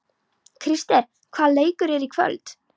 Krister, hvaða leikir eru í kvöld?